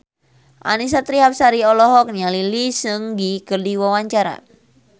Annisa Trihapsari olohok ningali Lee Seung Gi keur diwawancara